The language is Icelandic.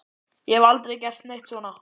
Ég hef aldrei gert neitt svona.